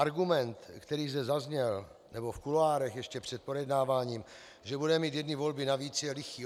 Argument, který zde zazněl, nebo v kuloárech ještě před projednáváním, že budeme mít jedny volby navíc, je lichý.